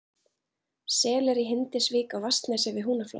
Selir í Hindisvík á Vatnsnesi við Húnaflóa